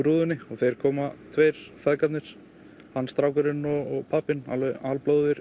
rúðunni og þeir koma tveir feðgarnir strákurinn og pabbinn alveg